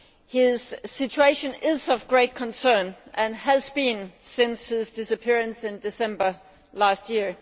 His situation is of great concern and has been since his disappearance in December last year.